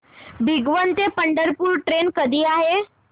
भिगवण ते पंढरपूर ट्रेन कधी आहे